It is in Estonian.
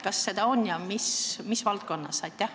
Kas seda on ja mis valdkonnas?